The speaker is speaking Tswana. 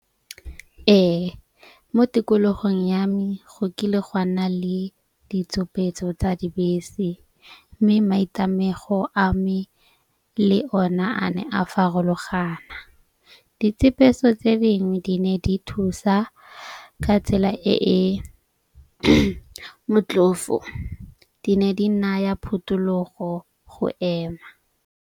Ee, mo tikologong ya me go kile gwa nna le ditsopeetso tsa dibese. Mme maitemogelo a me le ona a ne a farologana, ditshepiso tse dingwe di ne di thusa ka tsela e e motlhofo. Di ne di naya phutulogo go ema.